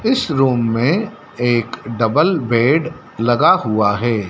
इस रूम मे एक डबल बेड लगा हुआ है।